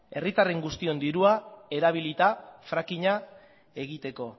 herritar guztien dirua erabilita frackinga egiteko